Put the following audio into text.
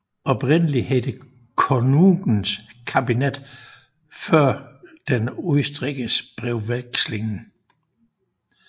Oprindeligt hed det Konungens kabinett för den utrikes brevväxlingen